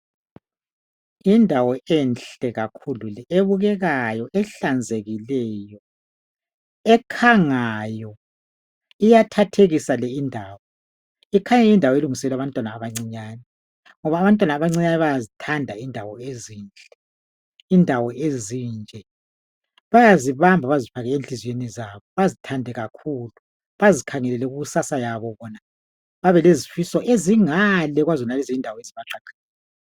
Yindawo enhle kakhulu ebukekayo ehlanzekile, ekhangayo iyathathekisa le indawo. Ikhanya yindawo elungiselelwe abantwana abancinyane ngoba abantwana abancinyane bayazithanda indawo ezinhle. Indawo ezinje bayazibamba bazifake enhliziweni zabo bazithande kakhulu bazikhangelele kukusasa yabo babelezifiso ezingale kwazonalezi indawo ezibaqaqeleyo.